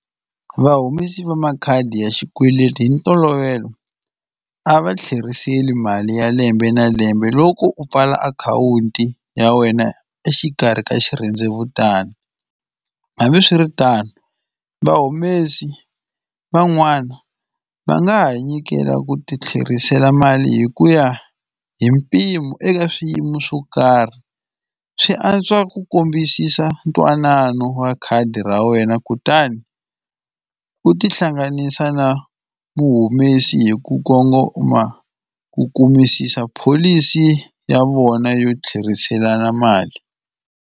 Vahumesi va makhadi ya xikweleti hi ntolovelo a va tlherisela mali ya lembe na lembe loko u pfala akhawunti ya wena exikarhi ka xirhendzevutani hambiswiritano vahumesi van'wana va nga ha nyikela ku ti tlherisela mali hi ku ya hi mpimo eka swiyimo swo karhi swi antswa ku kombisisa ntwanano wa khadi ra wena kutani u tihlanganisa na vuhumesi hi ku kongoma ku kumisisa pholisi ya vona yo tlheriselana mali.